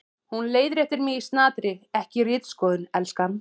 Hún leiðréttir mig í snatri: Ekki ritskoðun, elskan.